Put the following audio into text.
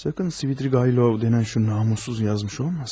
Sakın Svidrigaylov dənən şu namussuz yazmış olmasın?